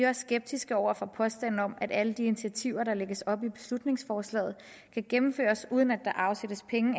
også skeptiske over for påstanden om at alle de initiativer der lægges op til i beslutningsforslaget kan gennemføres uden at der afsættes penge